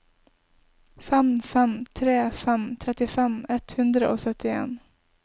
fem fem tre fem trettifem ett hundre og syttien